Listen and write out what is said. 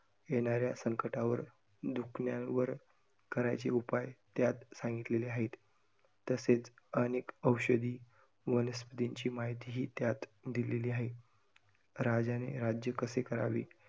येणाऱ्या संकटावर, दुखण्यावर करायचे उपाय त्यात सांगितलेले आहेत. तसेच अनेक औषधी, वनस्पतींची माहितीही त्यात दिलेली आहे. राजाने राज्य कसं करावे.